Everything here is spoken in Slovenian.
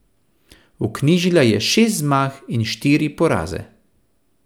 Vknjižila je šest zmag in štiri poraze.